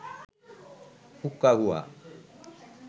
হুক্কা হুয়া